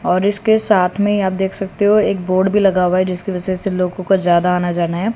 और इसके साथ में ही आप देख सकते हो एक बोर्ड भी लगा हुआ है जिसकी वजह से लोगों का ज्यादा आना जाना है।